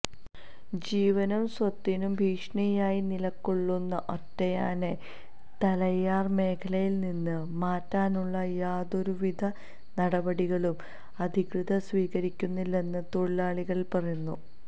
ജീവനും സ്വത്തിനും ഭീഷണിയായി നിലകൊള്ളുന്ന ഒറ്റയാനെ തലയാർ മേഖലയിൽനിന്ന് മാറ്റാനുള്ള യാതൊരുവിധ നടപടികളും അധികൃതർ സ്വീകരിക്കുന്നില്ലെന്ന് തൊഴിലാളികൾ പറയുന്നു